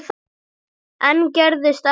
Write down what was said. Enn gerðist ekkert.